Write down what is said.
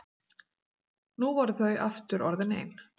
Nú voru þau aftur orðin ein.